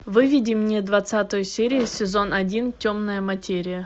выведи мне двадцатую серию сезон один темная материя